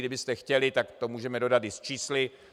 Kdybyste chtěli, tak to můžeme dodat i s čísly.